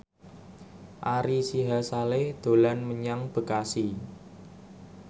Ari Sihasale dolan menyang Bekasi